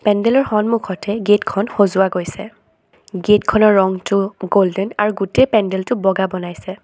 পেন্দেলৰ সন্মুখতে গেট খন সজোৱা গৈছে গেট খনৰ ৰংটো গল্ডেন আৰু গোটেই পেন্দেলটো বগা বনাইছে।